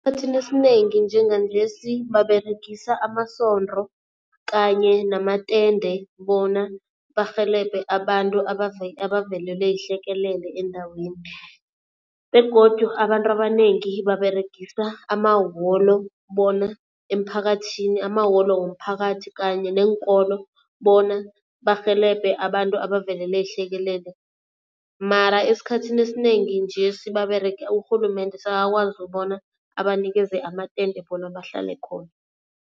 Esikhathini esinengi njenganjesi baberegisa amasondo kanye namatende bona barhelebhe abantu abavelelwe yihlekelele eendaweni. Begodu abantu abanengi baberegisa amaholo bona emphakathini, amaholo womphakathi kanye neenkolo bona barhelebhe abantu abavelelwe yihlekelele. Mara esikhathini esinengi njesi urhulumende sekakwazi bona abanikeze amatende bona bahlale khona.